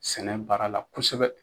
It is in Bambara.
Sɛnɛ baara la kosɛbɛ